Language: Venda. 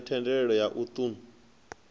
ya thendelo ya u ṱun